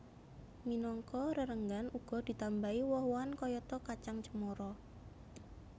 Minangka rerenggan uga ditambahi woh wohan kayata kacang cemara